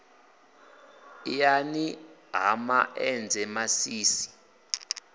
iani ha ma enzhe masisi